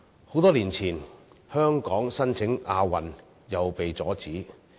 很多年前，香港申辦亞運也被阻止。